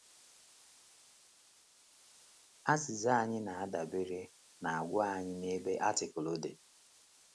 Azịza ya na - adabere n’àgwà anyị n’ebe Artikụlụ dị.